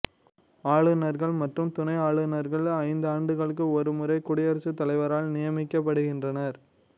ஆளுநர்கள் மற்றும் துணை ஆளுநர்கள் ஐந்தாண்டுகளுக்கு ஒரு முறை குடியரசுத்தலைவரால் நியமிக்கப்படுகின்றனர்